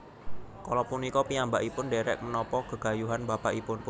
Kala punika piyambakipun ndhèrèk menapa gegayuhan bapakipun